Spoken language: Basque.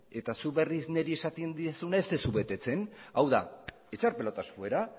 eta zuk berriz niri esaten didazuna ez duzu betetzen hau da echar pelotas fuera